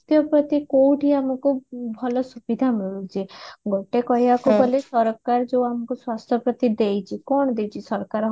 ସ୍ୱାସ୍ଥ୍ୟ ପ୍ରତି କୋଉଠି ଆମକୁ ଭଲ ସୁବିଧା ମିଳୁଛି ହେଲେ ଗୋଟେ କହିବାକୁ ଗଲେ ସରକାର ଯୋଉ ଆମକୁ ସଂସ୍ଥା ପ୍ରତି ଦେଇଛି କଣ ଦେଇଛି ସରକାର